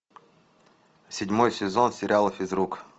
седьмой сезон сериала физрук